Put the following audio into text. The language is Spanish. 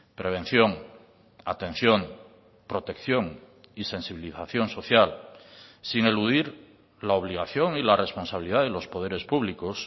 prevención atención protección y sensibilización social sin eludir la obligación y la responsabilidad de los poderes públicos